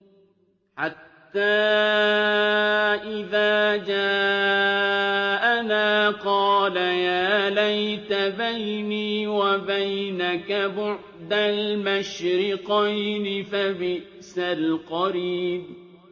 حَتَّىٰ إِذَا جَاءَنَا قَالَ يَا لَيْتَ بَيْنِي وَبَيْنَكَ بُعْدَ الْمَشْرِقَيْنِ فَبِئْسَ الْقَرِينُ